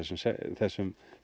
þessum